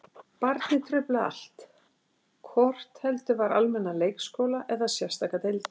Barnið truflaði allt, hvort heldur var almennan leikskóla eða sérstakar deildir.